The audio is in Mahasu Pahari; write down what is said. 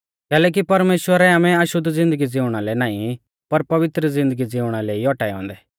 कैलैकि परमेश्‍वरै आमै अशुद्ध ज़िन्दगी ज़िउणा लै नाईं पर पवित्र ज़िन्दगी ज़िउणा लै ई औटाऐ औन्दै